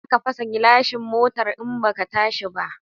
Zaka fasa gilashin motar in baka tashi ba